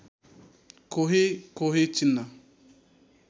कोही कोही चिन्न